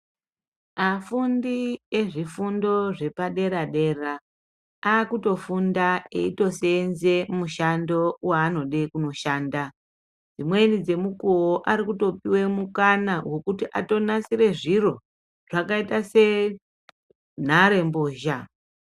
Afundi ezvifundo zvepadera dera akutofunda eitoseenze mushando waanode kunoshanda. Dzimweni dzemukowo ari kutopiwe mukana wekuti atonasire zviro zvakaite senharembozha.